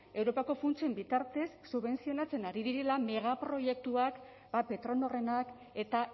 europako funtsen bitartez subentzionatzen ari direla megaproiektuak petronorrenak eta